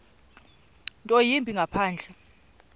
nto yimbi ngaphandle